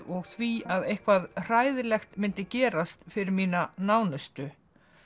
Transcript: og því að eitthvað hræðilegt myndi gerast fyrir mína nánustu